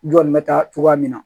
N jɔn bɛ taa cogoya min na